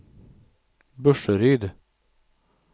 Burseryd